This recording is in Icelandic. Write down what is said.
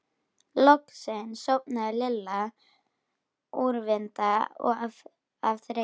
Loksins sofnaði Lilla úrvinda af þreytu.